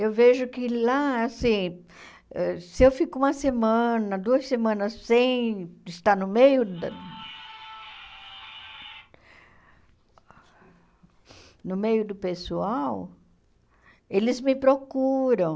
Eu vejo que lá, assim se eu fico uma semana, duas semanas sem estar no meio da... no meio do pessoal, eles me procuram.